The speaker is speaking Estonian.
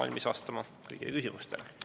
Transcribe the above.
Olen valmis vastama kõigile küsimustele.